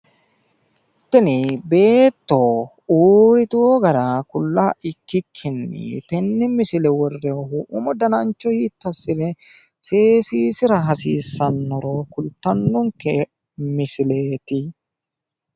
tini beetto uriiteo gara kula ikkikkini tene misile woronihu umu dananicho hitto ikkine seessira hasiisanoro kulitano misileti